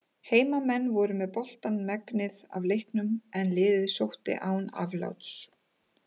Heimamenn voru með boltann megnið af leiknum en liðið sótti án afláts.